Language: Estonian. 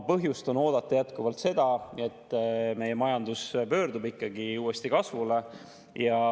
Põhjust on jätkuvalt oodata seda, et meie majandus pöördub uuesti kasvule.